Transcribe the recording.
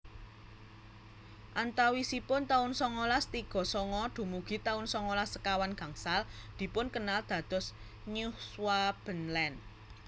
Antawisipun taun songolas tiga sanga dumugi taun songolas sekawan gangsal dipunkenal dados Neuschwabenland